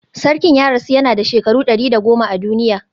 Sarkin ya rasu yana da shekaru 110 a duniya